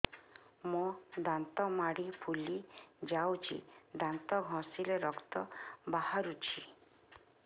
ମୋ ଦାନ୍ତ ମାଢି ଫୁଲି ଯାଉଛି ଦାନ୍ତ ଘଷିଲେ ରକ୍ତ ବାହାରୁଛି